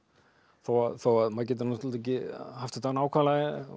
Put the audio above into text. þó þó að maður geti náttúrulega ekki haft þetta nákvæmlega